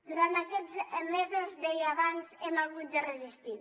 durant aquests mesos deia abans hem hagut de resistir